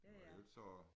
Og ellers så